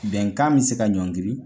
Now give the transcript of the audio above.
Bɛnkan bɛ se ka ɲɔngiri